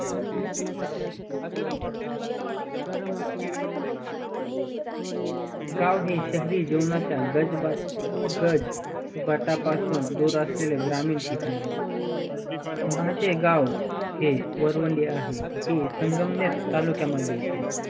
गाव हे शहरी जीवनाचा गज बटापासून दूर असलेल्या ग्रामीण ठिकाण आहे माझे गाव हे वरवणी आहे हे संगमेड तालुक्यामद्धे येते.